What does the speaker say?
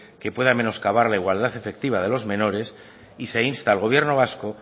que pueda menoscabar la igualdad efectiva de los menores y se insta al gobierno vasco